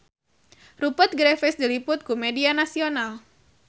Rupert Graves diliput ku media nasional